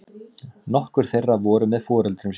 Nokkur þeirra voru með foreldrum sínum